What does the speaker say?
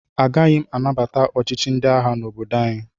Agaghị m anabata ọchịchị ndị agha n'obodo anyị.